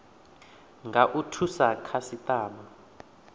nga u thusa khasitama